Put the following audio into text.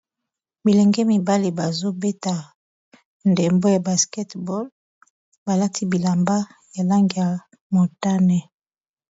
Bilenge mibali bazobeta ndembo ya basketball balati bilamba ya langi ya motane